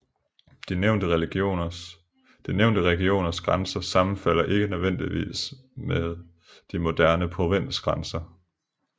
De nævnte regioners grænser sammenfalder ikke nødvendigvis med de moderne provinsgrænser